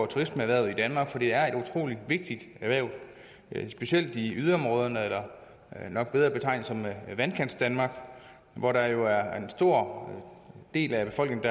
turismeerhvervet i danmark for det er et utrolig vigtigt erhverv specielt i yderområderne nok bedre betegnet som vandkantsdanmark hvor der jo er en stor del af befolkningen